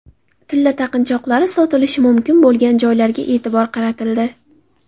Tilla taqinchoqlari sotilishi mumkin bo‘lgan joylarga e’tibor qaratildi.